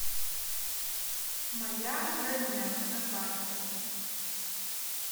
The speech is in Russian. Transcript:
моя родня на карте